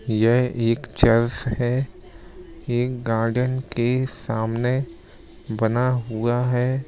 यह एक चर्च है एक गार्डन के सामने बना हुआ है।